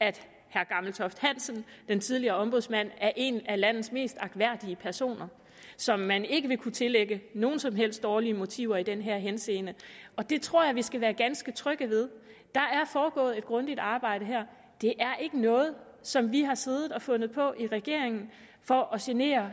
at herre gammeltoft hansen den tidligere ombudsmand er en af landets mest agtværdige personer som man ikke vil kunne tillægge nogen som helst dårlige motiver i den her henseende det tror jeg vi skal være ganske trygge ved der er foregået et grundigt arbejde her det er ikke noget som vi har siddet og fundet på i regeringen for at genere